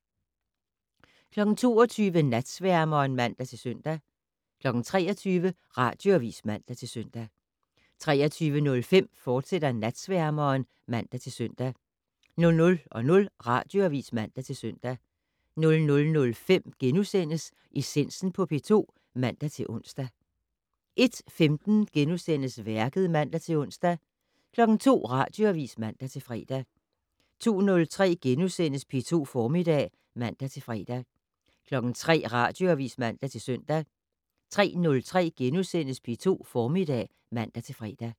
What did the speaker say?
22:00: Natsværmeren (man-søn) 23:00: Radioavis (man-søn) 23:05: Natsværmeren, fortsat (man-søn) 00:00: Radioavis (man-søn) 00:05: Essensen på P2 *(man-ons) 01:15: Værket *(man-ons) 02:00: Radioavis (man-fre) 02:03: P2 Formiddag *(man-fre) 03:00: Radioavis (man-søn) 03:03: P2 Formiddag *(man-fre)